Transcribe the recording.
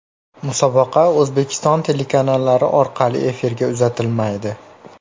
Musobaqa O‘zbekiston telekanallari orqali efirga uzatilmaydi.